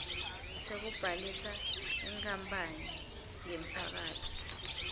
sekubhalisa inkapani yemphakatsi